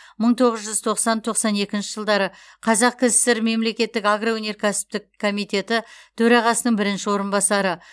мың тоғыз жүз тоқсан тоқсан екінші жылдары қазақ кср мемлекеттік агроөнеркәсіптік комитеті төрағасының бірінші орынбасары